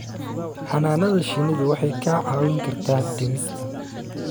Xannaanada shinnidu waxay kaa caawin kartaa dhimista